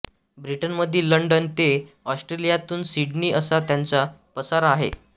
ब्रिटनमधील लंडन ते ऑस्ट्रेलियातील सिडनी असा त्यांचा पसारा आहे